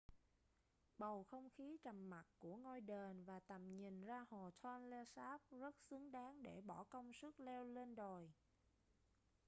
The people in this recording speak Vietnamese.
bầu không khí trầm mặc của ngôi đền và tầm nhìn ra hồ tonle sap rất xứng đáng để bỏ công sức leo lên đồi